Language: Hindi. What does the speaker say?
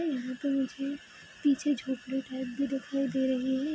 यहाँ पर मुझे पीछे झोपड़ी टाईप भी दिखाई दे रही है ।